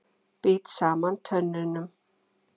Bít saman tönnunum.